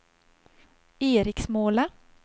Eriksmåla